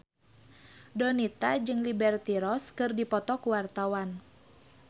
Donita jeung Liberty Ross keur dipoto ku wartawan